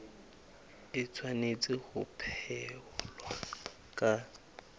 e tshwanetse ho phethwa ka